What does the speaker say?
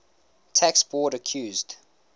tax board accused